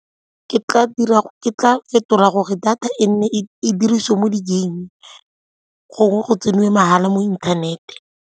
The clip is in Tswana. Ke tla fetola gore data e nne e dirisiwe mo di-game-eng, gongwe go tseniwe mahala mo internet-e.